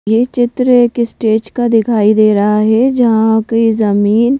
ये चित्र एक स्टेज का दिखाई दे रहा है जहां की जमीन--